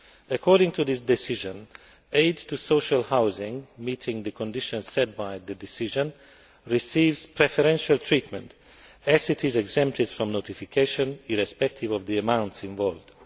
According to this decision, aid to social housing which meets the conditions set by the decision receives preferential treatment, as it is exempted from notification irrespective of the amounts involved.